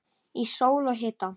Í sól og hita.